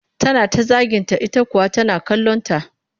Tana ta zaginta ita kuwa tana kallonta